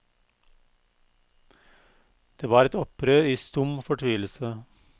Det var et opprør i stum fortvilelse.